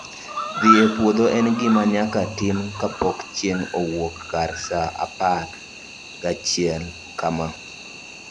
Dhi e pwodho en gima nyaka tim kapok chieng' owuok kar saa apar gachiel kama